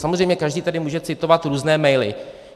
Samozřejmě každý tady může citovat různé maily.